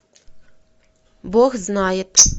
бог знает